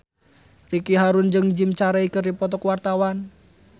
Ricky Harun jeung Jim Carey keur dipoto ku wartawan